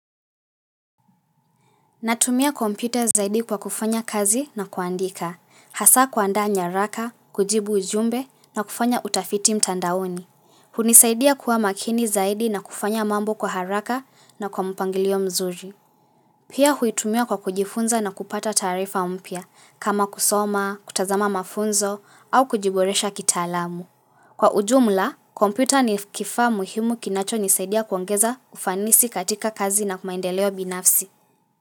Natumia kompyuta zaidi kwa kufanya kazi na kuandika, hasa kuandaa nyaraka, kujibu ujumbe na kufanya utafiti mtandaoni. Hunisaidia kuwa makini zaidi na kufanya mambo kwa haraka na kwa mpangilio mzuri. Pia huitumia kwa kujifunza na kupata taarifa mpya, kama kusoma, kutazama mafunzo au kujiboresha kitaalamu. Kwa ujumla, kompyuta ni kifa muhimu kinacho nisaidia kuangeza ufanisi katika kazi na maendeleo binafsi.